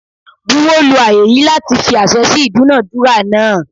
Buwo lu aaye yii lati fi ase si idunadura naa